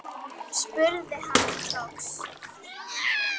spurði hann loks.